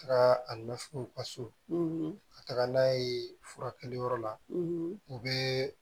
Taara a nɔfɛ u ka so ka taga n'a ye furakɛliyɔrɔ la u bɛ